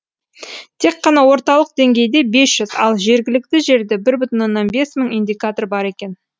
тек қана орталық деңгейде бес жүз ал жергілікті жерде бір бүтін оннан бес мың индикатор бар екен